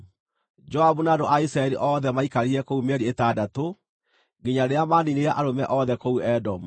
Joabu na andũ a Isiraeli othe maikarire kũu mĩeri ĩtandatũ, nginya rĩrĩa maaniinire arũme othe kũu Edomu.